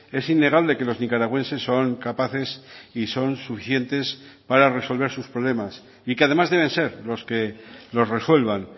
es innegable que los nicaragüenses son capaces y son suficientes para resolver sus problemas y que además deben ser los que los resuelvan